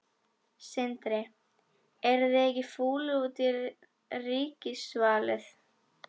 Sindri: Eruð þið ekkert fúlir út í ríkisvaldið?